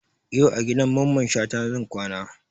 Yau a gidan Mamman Shata zan kwana